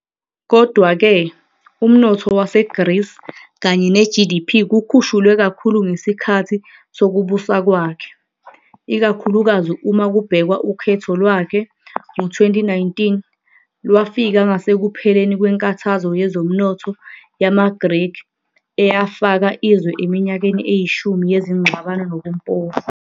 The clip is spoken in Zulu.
Kodwa-ke, umnotho waseGreece kanye ne-GDP kukhushulwe kakhulu ngesikhathi sokubusa kwakhe, ikakhulukazi uma kubhekwa ukhetho lwakhe ngo-2019 lwafika ngasekupheleni kweNkathazo Yezomnotho YamaGreki eyafaka izwe eminyakeni eyishumi yezingxabano nobumpofu.